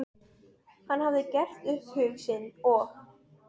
Norrænar hlutleysisreglur bönnuðu kafbátum að fara inn í landhelgi